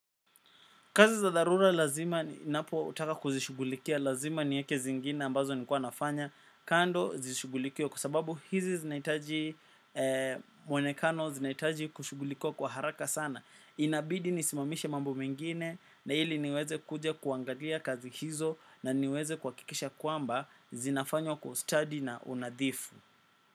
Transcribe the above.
Kazi za dharura lazima ninapotaka kuzishughulikia lazima niweke zingine ambazo nilikuwa nafanya kando zishughulikiwe kwa sababu hizi zinahitaji mwonekano zinahitaji kushughulikiwa kwa haraka sana. Inabidi nisimamishe mambo mengine na ili niweze kuja kuangalia kazi hizo na niweze kuhakikisha kwamba zinafanywa kwa ustadi na unadhifu.